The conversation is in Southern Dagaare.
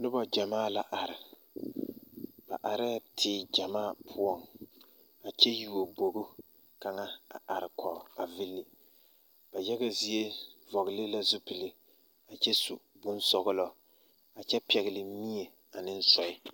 Noba ɡyamaa la are ba arɛɛ teere ɡyamaa poɔŋ a kyɛ yuo boɡo kaŋa a arekɔɡe vili ba yaɡa zie vɔɡele la zupile a kyɛ su bonsɔɔlɔ a kyɛ pɛɡele mie ane sɔɛ.